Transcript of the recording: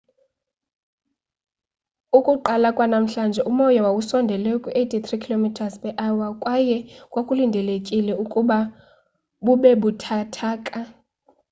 ukuqala kwanamhlanje umoya wawusondele kwi-83 km / h kwaye kwakulindelekile ukuba bube buthathaka